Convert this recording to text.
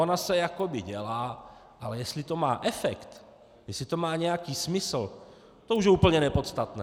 Ona se jakoby dělá, ale jestli to má efekt, jestli to má nějaký smysl, to už je úplně nepodstatné.